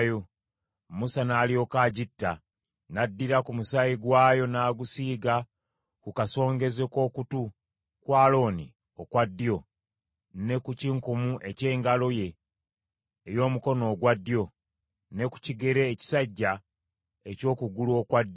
Musa n’alyoka agitta, n’addira ku musaayi gwayo n’agusiiga ku kasongezo k’okutu kwa Alooni okwa ddyo, ne ku kinkumu eky’engalo ye ey’omukono ogwa ddyo, ne ku kigere ekisajja eky’okugulu okwa ddyo.